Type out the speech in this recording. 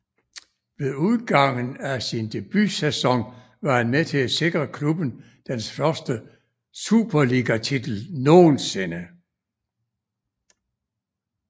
Ved udgangen af sin debutsæson var han med til at sikre klubben dens første Superligatitel nogensinde